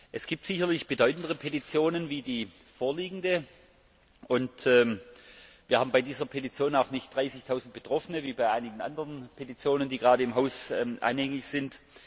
Es gibt sicherlich bedeutendere Petitionen als die vorliegende. Wir haben bei dieser Petition auch nicht dreißigtausend Betroffene wie bei einigen anderen Petitionen, die gerade im Haus anhängig sind.